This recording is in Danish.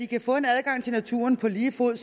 kan få adgang til naturen på lige fod